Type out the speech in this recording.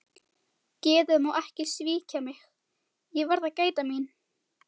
Geðið má ekki svíkja mig, ég verð að gæta mín.